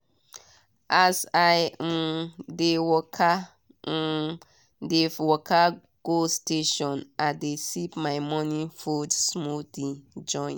as i um dey waka um dey waka go station i dey sip my morning food smoothie join.